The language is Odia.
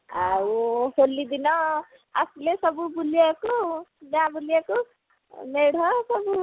ଆଉ ହୋଲି ଦିନ ଆସିଲେ ସବୁ ବୁଲିବା କୁ ଗାଁ ବୁଲିବାକୁ ମେଢ ସବୁ